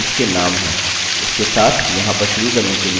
यहाँ केवल हमारे फील्ड्स के नाम हैं